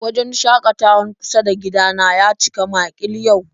Wajen shakatawan kusa da gida na ya cika makil yau